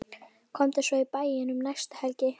Komdu svo í bæinn um næstu helgi.